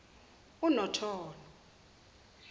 unotono